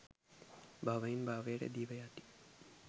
භවයෙන් භවයට දිව යති.